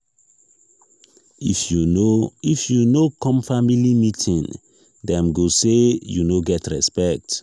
if you no if you no come family meeting dem go say you no get respect.